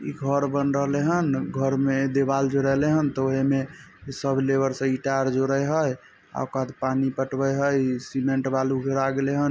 इ घर बन रहले हान घर में देवाल जोड़एले हान त ओहे में इ सब लेबर सब ईंटा जोड़े हय अ कद पानी पटवे हई सीमेंट बालू गिरा देले हन।